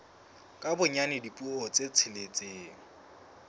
ka bonyane dipuo tse tsheletseng